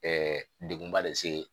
degun ba de se